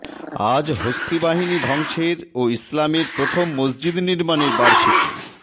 আজ হস্তী বাহিনী ধ্বংসের ও ইসলামের প্রথম মসজিদ নির্মাণের বার্ষিকী